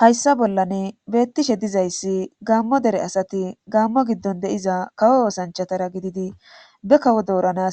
Hayssa bollani beettishe dizayssi gaammo Dera asati gaammo giddon de7iza kawo oosanchatara gididi be kawo doorannaa